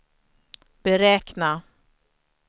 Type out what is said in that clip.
beräkna